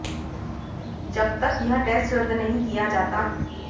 जब तक यह टेस्ट रद्द नहीं किया जाता